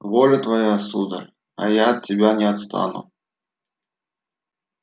воля твоя сударь а я от тебя не отстану